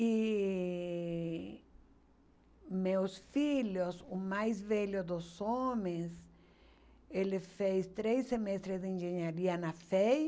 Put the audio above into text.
E meus filhos, o mais velho dos homens, ele fez três semestres de engenharia na FEI.